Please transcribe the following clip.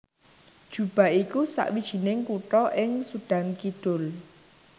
Juba iku sawijining kutha ing Sudan Kidul